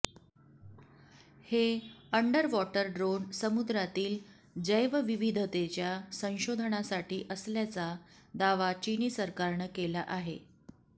हे underwater drone समुद्रातील जैवविविधतेच्या संशोधनासाठी असल्याचा दावा चिनी सरकारनं केला आहे